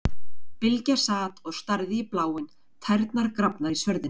Bylgja sat og starði út í bláinn, tærnar grafnar í svörðinn.